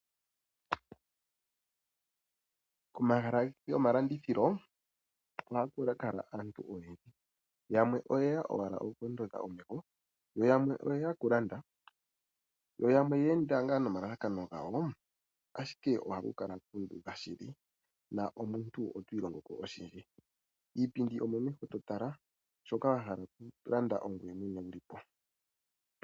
Komahala gomalandithilo oha ku kala kuna aantu oyendji, yamwe oyeya owala oku ondodha omeho, yo yamwe oyeya oku landa, yo yamwe oyeenda nga nomalalakano gawo, ashike oha ku kala kuudha shili na omuntu otwiilongo ko oshindji. Iipindi omo meho to tala, shoka wa hala oku landa ongweye mwene wuli po.